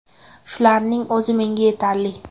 Shularning o‘zi menga yetarli.